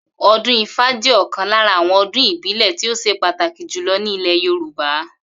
O̩dún Ifá jé̩ ò̩kan lára àwo̩n odún ìbílè̩ tí ó s̩e pàtàkì jùlo̩ ní ilè̩ Yorùbá